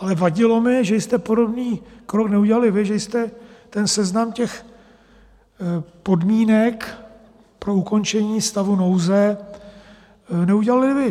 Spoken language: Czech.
Ale vadilo mi, že jste podobný krok neudělali vy, že jste seznam těch podmínek pro ukončení stavu nouze neudělali vy.